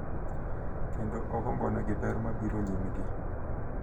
Kendo ogombonegi ber mabiro nyimgi.